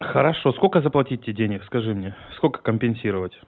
хорошо сколько заплатить тебе денег скажи мне сколько компенсировать